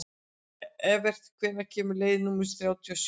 Evert, hvenær kemur leið númer þrjátíu og sjö?